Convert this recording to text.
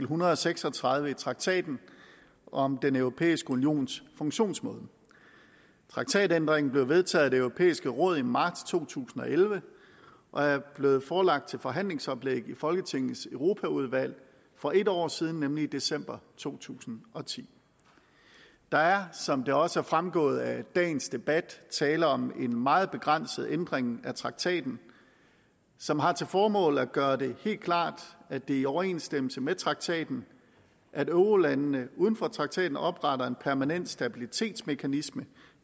hundrede og seks og tredive i traktaten om den europæiske unions funktionsmåde traktatændringen blev vedtaget af det europæiske råd i marts to tusind og elleve og er blevet forelagt som forhandlingsoplæg til folketingets europaudvalg for en år siden nemlig i december to tusind og ti der er som det også er fremgået af dagens debat tale om en meget begrænset ændring af traktaten som har til formål at gøre det helt klart at det er i overensstemmelse med traktaten at eurolandene uden for traktaten opretter en permanent stabilitetsmekanisme